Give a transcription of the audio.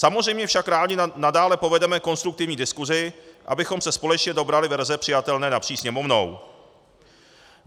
Samozřejmě však rádi nadále povedeme konstruktivní diskusi, abychom se společně dobrali verze přijatelné napříč Sněmovnou.